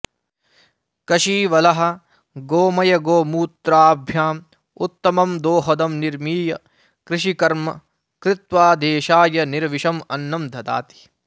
कषीवलः गोमयगोमूत्रभ्याम् उत्तमं दोहदं निर्मीय कृषिकर्म कृत्वा देशाय निर्विषम् अन्नं ददाति